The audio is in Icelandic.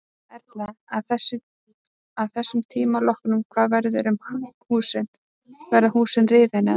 Erla: Að þessum tíma loknum hvað verður um húsin, verða húsin rifin eða?